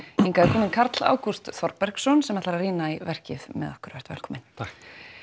hingað er kominn Karl Ágúst sem ætlar að rýna í verkið með okkur vertu velkominn takk